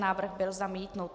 Návrh byl zamítnut.